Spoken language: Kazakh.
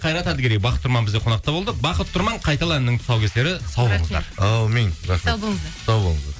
қайрат әділгерей бақыт тұрман бізде қонақта болды бақыт тұрман қайтала әнінің тұсаукесері сау болыңыздар аумин рахмет сау болыңыздар сау болыңыздар